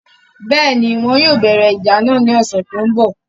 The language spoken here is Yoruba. Bẹ́ẹ̀ni, Wọn yóò bẹ̀rẹ̀ ìjà náà lọ́sẹ̀ tó ń bọ̀